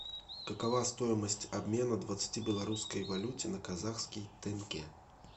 какова стоимость обмена двадцати белорусской валюте на казахский тенге